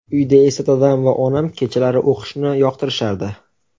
Uyda esa dadam va onam kechalari o‘qishni yoqtirishardi.